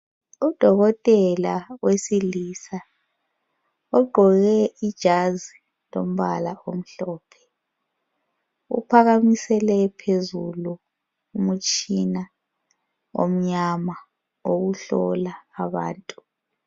Udokotela wesilisa ogqoke ijazi lombala omhlophe. Uphakamisele phezulu umtshina omnyama wokuhlola abantu.